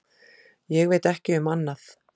Ég veit ekki um annað.